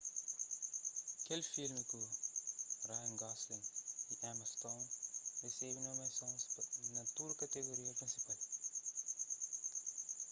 kel filmi ku ryan gosling y emma stone resebe nomiasons na tudu kategoria prinsipal